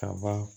Kaba